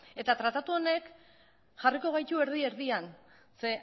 tratatu honek jarriko gaitu erdi erdian zeren